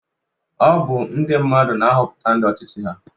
Ọ bu ndi mmadụ na-Hoputa ndi ọchichị ha